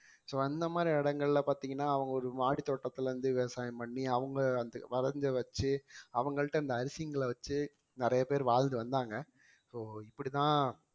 so அந்த மாதிரி இடங்கள்ல பார்த்தீங்கன்னா அவங்க ஒரு மாடித்தோட்டத்துல இருந்து விவசாயம் பண்ணி அவங்க அந்த வளர்ந்து வச்சு அவங்கள்ட்ட இந்த வச்சு நிறைய பேர் வாழ்ந்து வந்தாங்க so இப்படித்தான்